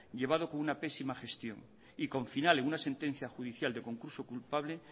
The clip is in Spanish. llevado con una pésima gestión y con final en una sentencia judicial de concurso culpable